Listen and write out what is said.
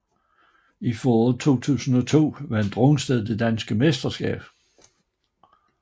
I foråret 2002 vandt Rungsted det danske mesterskab